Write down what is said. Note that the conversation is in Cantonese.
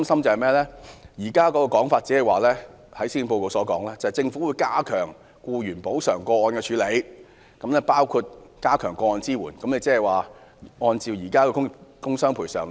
令我們擔心的是，施政報告表示"政府會加強僱員補償個案的處理，包括加強'個案支援服務'"。